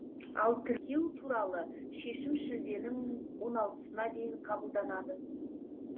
ал тіркеу туралы шешім шілденің он алтысына дейін қабылданады